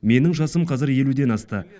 менің жасым қазір елуден асты